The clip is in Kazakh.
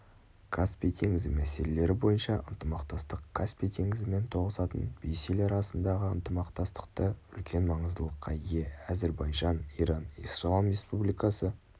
каспий теңізі мәселелері бойынша ынтымақтастық каспий теңізімен тоғысатын бес ел арасындағы ынтымақтастықты үлкен маңыздылыққа ие әзірбайжан иран ислам республикасы